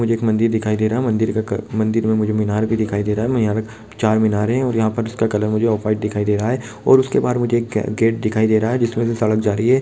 मुझे एक मंदिर दिखाई दे रहा है मंदिर का-क मंदिर मे मुझे मीनार भी दिखाई दे रहा है और यहाँ पे चार मीनार है जिसका कलर मुझे ऑफ व्हाइट दिखाई दे रहा है और उसके बाहर मुझे एक गेट दिखाई दे रहा है जिसमें से सड़क जा रही है ।